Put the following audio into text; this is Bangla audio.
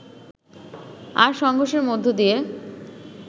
আর সংঘর্ষের মধ্যে দিয়ে